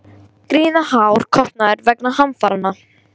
Gríðarhár kostnaður vegna hamfaranna